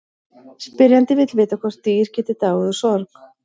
Spyrjandi vill vita hvort dýr geti dáið úr sorg.